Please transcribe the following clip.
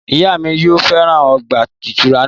Ìyá mi yóò fẹràn ọgbà ìtura na